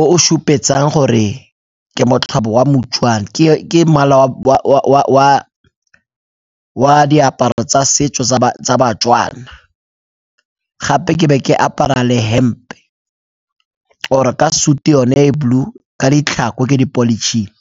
o o supetsang gore ke motlobo wa moTswana ke mala wa diaparo tsa setso tsa baTswana gape ke be ke apara le hempe or-e ka suit-u yone e blue ka ditlhako ke di-polish-ile.